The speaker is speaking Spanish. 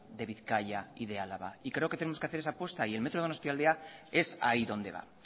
de bizkaia y de álava y creo que tenemos que hacer esa apuesta y el metro donostialdea es ahí donde va